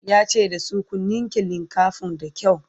yace da su "ku ninke linkafanin da kyau!"